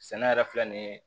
Sɛnɛ yɛrɛ filɛ nin ye